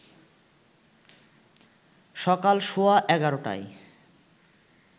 সকাল সোয়া ১১টায়